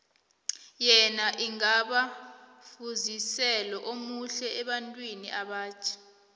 yena angaba mfuziselo omuhle ebantwini abatjha